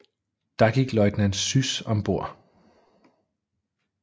Der gik løjtnant Süß om bord